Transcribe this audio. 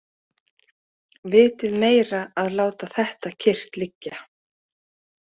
Vitið meira að láta þetta kyrrt liggja.